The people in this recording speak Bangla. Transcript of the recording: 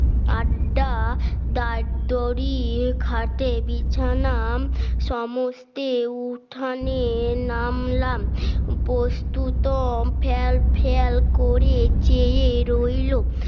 আড্ডা ডাক দড়ির খাটে বিছানা সমস্তে উঠানে নামলাম বস্তুত ফ্যাল ফ্যাল করে চেয়ে রইল